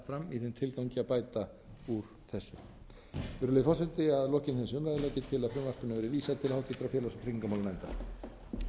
í þeim tilgangi að bæta úr þessu virðulegi forseti að lokinni þessari umræðu legg ég til að frumvarpinu verði vísað til háttvirtrar félags og tryggingamálanefndar